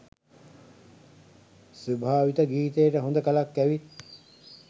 සුභාවිත ගීතයට හොඳ කලක් ඇවිත්